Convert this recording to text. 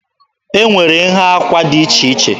E nwere nha àkwà dị iche iche.